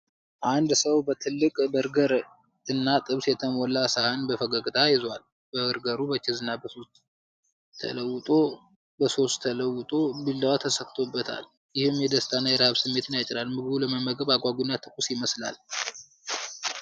አንድ ሰው በትልቅ በርገር እና ጥብስ የተሞላ ሳህን በፈገግታ ይዟል። በርገሩ በቺዝ እና በሶስ ተውጦ ቢላዋ ተሰክቶበታል፤ ይህም የደስታ እና የረሃብ ስሜትን ያጭራል። ምግቡ ለመመገብ አጓጊ እና ትኩስ ይመስላል።